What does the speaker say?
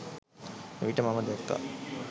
එවිට මම දැක්කා